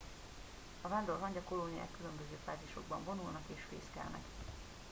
a vándorhangya kolóniák különböző fázisokban vonulnak és fészkelnek